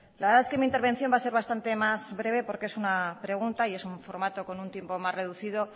la verdad es que mi intervención va a ser bastante más breve porque es una pregunta y es un formato con un tiempo más reducido